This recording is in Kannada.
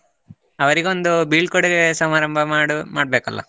ಅವರಿಗೊಂದು ಬೀಳ್ಕೊಡುಗೆ ಸಮಾರಂಭ ಮಾಡು~ ಮಾಡ್ಬೇಕಲ್ಲ?